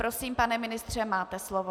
Prosím, pane ministře, máte slovo.